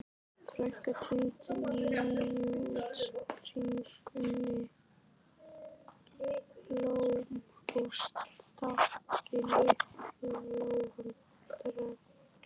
Frænka tíndi nýútsprungin blóm og stakk í lítinn lófa Drengs.